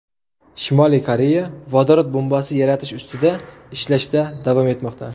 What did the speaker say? Shimoliy Koreya vodorod bombasi yaratish ustida ishlashda davom etmoqda.